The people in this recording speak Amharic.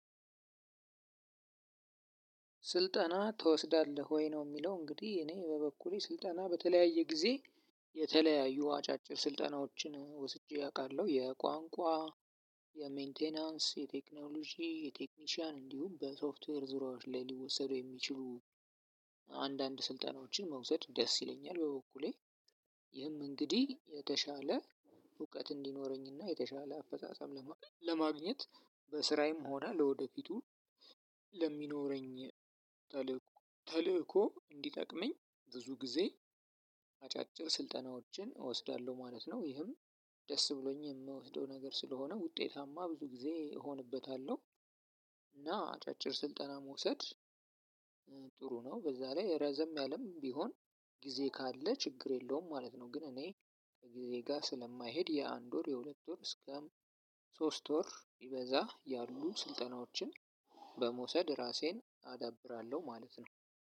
ስልጠና ትወስዳለህ ወይ ነው? የሚለው እንግዲህ እኔ በበኩሌ ስልጠና በተለያየ ጊዜ የተለያዩ አጫጭር ስልጠናዎችን ወስጄ አውቃለሁ። የቋንቋ የመይንቴይናንስ የቴክኖሎጂ የቴክኒሻን እንዲሁም በሶፍትዌር ዙሪያዎች ላይ ሊወሰዱ የሚችሉ ስልጠናዎችን መውሰድ ደስ ይለኛል። በበኩሌ ይህም እንግዲህ የተሻለ እውቀት እንዲኖረኝና የተሻለ አፈጻጸም ለማግኘት በስራዬም ሆና ለወደፊቱ ለሚኖረኝ ተልእኮ እንዲጠቅመኝ ብዙ ጊዜ አጫጭር ስልጠናዎችን እወስዳለሁ ማለት ነው። ይህም ደስ ብሎኝ የምወስደው ነገር ስለሆነ ውጤታማ ጊዜ እሆንበታለሁ። እና አጫጭር ስልጠና መውሰድ በዛ ላይ ረዘም ያለ ሲሆን ጊዜ ካለ ችግር የለውም ማለት ነው። በመውሰድ ራሴን አዳብራለሁ ማለት ነው።